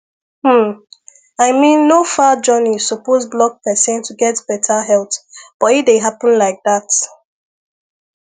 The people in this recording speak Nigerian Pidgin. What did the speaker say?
hmm i mean no far journey suppose block person to get better health but e dey happen like that